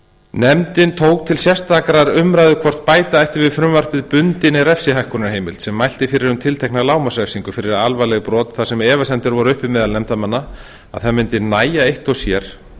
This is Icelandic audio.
nefndin tók til sérstakrar umræðu hvort bæta ætti við frumvarpið bundinni refsihækkunarheimild sem mælti fyrir um tiltekna lágmarksrefsingu fyrir alvarleg brot þar sem efasemdir voru uppi meðal nefndarmanna um að það mundi nægja eitt og sér